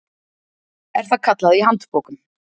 er það kallað í handbókum.